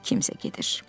Kimsə gedir.